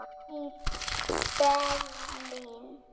í Berlín.